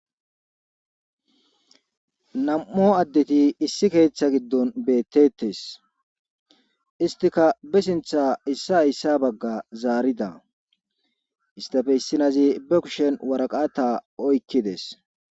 nam7o addeti issi keeththa giddon beettettes istika be sintha issa hayssa bagga zaarida istafe issinazi be kushen waraqata oykkides.